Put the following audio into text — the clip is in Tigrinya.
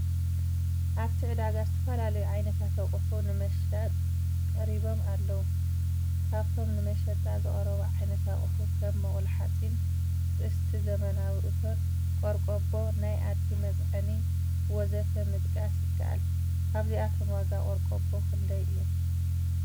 ኣብቲ ዕዳጋ ዝተፈላለዩ ዓይነታት ኣቅሑ ንምሻጥ ቀሪቦም ኣለዉ፡፡ ካብቶም ንመሸጣ ዝቐረቡ ዓይነት ኣቅሑ ከም መቁላሓፂን፣ ጥስቲ ዘመናዊ እቶን፣ ቆርቆቦ ናይ ኣድጊ መፅዓኒ ወዘተ ምጥቃስ ይከኣል፡፡ ካብዚኦም ዋጋ ቆርቆቦ ክንደይ እዩ?